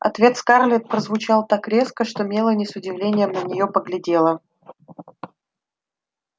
ответ скарлетт прозвучал так резко что мелани с удивлением на неё поглядела